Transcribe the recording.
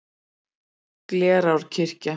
Glerárkirkja